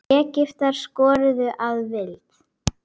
Egyptar skoruðu að vild.